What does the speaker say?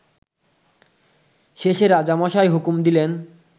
শেষে রাজামশাই হুকুম দিলেন